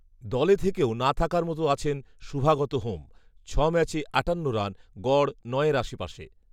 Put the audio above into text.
দলে থেকেও না থাকার মতো আছেন শুভাগত হোম। ছ ম্যাচে আটান্ন রান, গড় নয়ের আশপাশে।